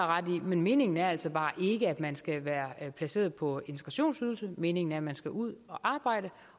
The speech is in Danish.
ret i men meningen er altså bare ikke at man skal være placeret på integrationsydelsen meningen er at man skal ud og arbejde